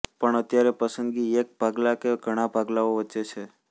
પણ અત્યારે પસંદગી એક ભાગલા કે પછી ઘણા ભાગલાઓ વચ્ચે છે